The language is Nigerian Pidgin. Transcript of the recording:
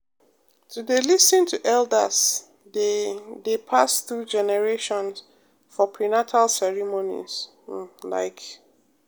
to dey lis ten to elders dey dey pass through generations for prenatal ceremonies um like.